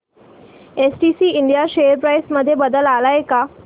STC India share price मध्ये बदल आलाय का